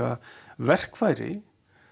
verkfæri